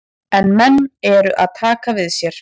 En menn eru að taka við sér.